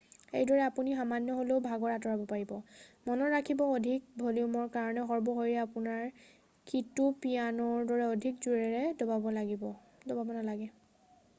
এইদৰে আপুনি সামান্য হ'লেও ভাগৰ আঁতৰাব পাৰিব মনত ৰাখিব অধিক ভলিউমৰ কাৰণে সৰ্ব শক্তিৰে আপুনি কীটো পিয়ানোৰ দৰে অধিক জোৰেৰে দবাব নালাগে